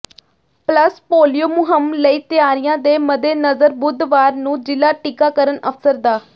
plus polio ਮੁਹਿੰਮ ਲਈ ਤਿਆਰੀਆਂ ਦੇ ਮੱਦੇਨਜ਼ਰ ਬੱੁਧਵਾਰ ਨੂੰ ਜ਼ਿਲ੍ਹਾ ਟੀਕਾਕਰਨ ਅਫਸਰ ਡਾ